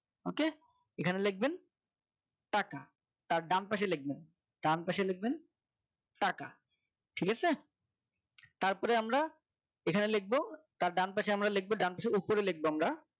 ok এখানে লিখবেন টাকা তার ডান পাশে লিখবেন ডান পাশে লিখবেন টাকা ঠিক আছে তারপরে আমরা এখানে লিখব তা ডান পাশে আমরা লিখবো ডান পাশের উপরে লিখব আমরা